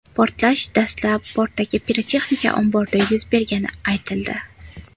Portlash dastlab, portdagi pirotexnika omborida yuz bergani aytildi.